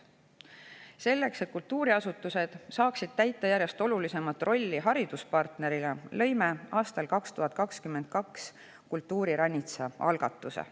Selleks, et kultuuriasutused saaksid täita järjest olulisemat rolli hariduspartnerina, lõime aastal 2022 Kultuuriranitsa algatuse.